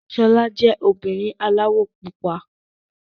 Ṣọlá jẹ́ obìnrin aláwọ̀ pupa.